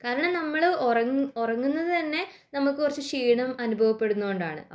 കാരണം നമ്മൾ ഉറങ്ങുന്നത് തന്നെ നമുക്ക് കുറച്ചു ക്ഷീണം അനുഭവപ്പെടുന്നത് കൊണ്ടാണ്